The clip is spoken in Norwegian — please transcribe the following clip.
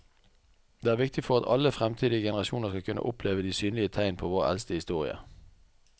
Det er viktig for at alle fremtidige generasjoner skal kunne oppleve de synlige tegn på vår eldste historie.